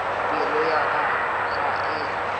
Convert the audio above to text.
pelo ya ka ga e